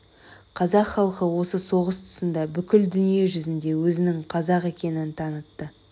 қазақ халқы осы соғыс тұсында бүкіл дүние жүзіне өзінің қазақ екенін танытты